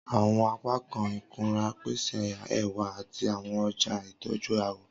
Awọn apakan ikunra pese ẹwa ati awọn ọja itọju awọ.